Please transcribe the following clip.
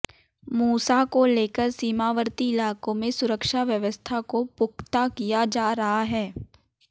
मूसा को लेकर सीमावर्ती इलाकों में सुरक्षा व्यवस्था को पुख्ता किया जा रहा है